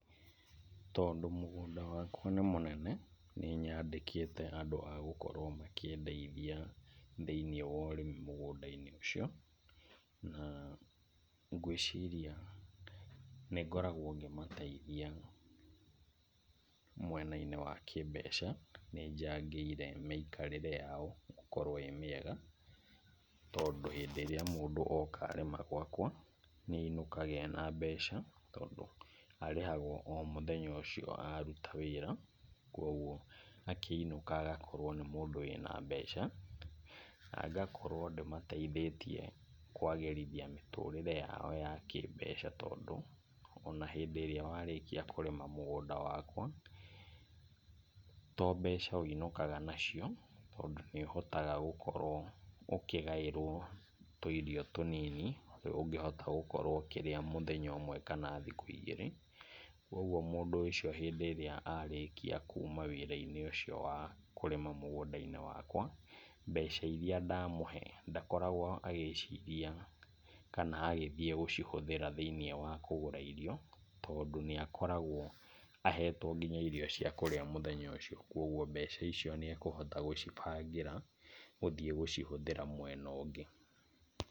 Tondũ mũgũnda wakwa nĩ mũnene, nĩ nyandĩkĩte andũ a gũkorwo makĩndeithia thĩinĩ wa ũrĩmi mũgunda-inĩ ũcio. Na ngwĩciria nĩngoragwo ngĩmateithia mwena-inĩ wa kĩmbeca, nĩnjangĩire mĩikarĩre yao gũkorwo ĩmĩega. Tondũ hĩndĩ ĩrĩa mũndũ oka arĩma gwakwa, nĩ ainũkaga ena mbeca tondũ, arĩhagwo o mũthenya ũcio aruta wĩra. Koguo akĩinũka agakorwo nĩ mũndũ wĩna mbeca. Na ngakorwo ndĩmateithĩtie kwagĩrithia mĩtũrĩre yao ya kĩmbeca, tondũ, ona hĩndĩ ĩrĩa warĩkia kũrĩma mũgũnda wakwa, tombeca ũinũkaga nacio, tondũ nĩ ũhotaga gũkorwo ũkĩgaĩrwo tũirio tũnini, ũngĩhota gũkorwo ũkĩrĩa mũthenya ũmwe kana thikũ igĩrĩ. Koguo mũndũ ũcio hĩndĩ ĩrĩa arĩkia kuuma wĩra-inĩ ũcio wa kũrĩma mũgũnda wakwa, mbeca iria ndamũhe, ndakoragwo agĩciria kana agĩthiĩ gũcihũthĩra thĩinĩ wa kũgũra irio, tondũ nĩ akoragwo ahetwo nginya irio cia kũrĩa mũthenya ũcio. Koguo mbeca icio nĩ ekũhota gũcibangĩra gũthiĩ gũcihũthĩra mwena ũngĩ.